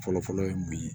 Fɔlɔfɔlɔ ye mun ye